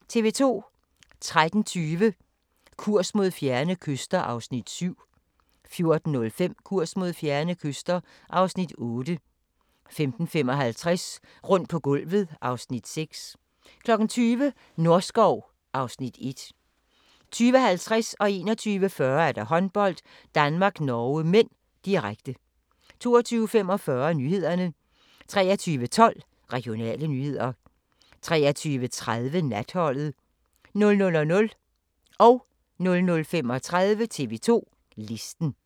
13:20: Kurs mod fjerne kyster (Afs. 7) 14:05: Kurs mod fjerne kyster (Afs. 8) 15:55: Rundt på gulvet (Afs. 6) 20:00: Norskov (Afs. 1) 20:50: Håndbold: Danmark-Norge (m), direkte 21:40: Håndbold: Danmark-Norge (m), direkte 22:45: Nyhederne 23:12: Regionale nyheder 23:30: Natholdet 00:00: TV 2 Listen